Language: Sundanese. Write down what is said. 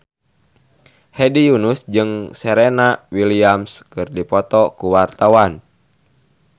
Hedi Yunus jeung Serena Williams keur dipoto ku wartawan